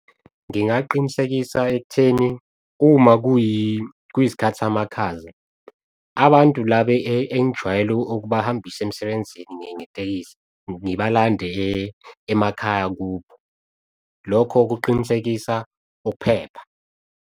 Ngingaqinisekisa ekutheni uma kuyisikhathi samakhaza, abantu laba engijwayele ukuba hambisa emsebenzini ngetekisi, ngibalande emakhaya kubo. Lokho kuqinisekisa ukuphepha.